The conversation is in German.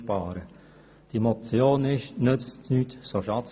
Bei dieser Motion gilt der Satz: